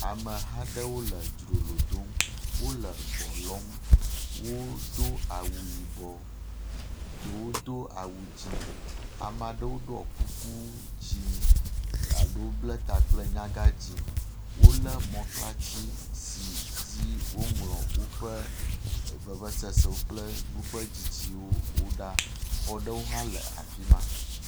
Ameha aɖewo le dzrolo dom, wole gbɔ lɔm. Wodo awu yibɔ. Ɖewo do awu dzĩ. Ame aɖewo ɖɔ kuku dzĩ. Aɖewo ble ta kple nyagãdzĩ. Wolé mɔklatsi si dzi woŋlɔ woƒe vevesese kple nuƒedzidziwo wo ɖa. Xɔ ɖe hã le afi ma.